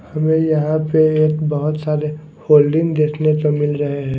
हमें यहां पे एक बहुत सारे होल्डिंग देखने को मिल रहे हैं।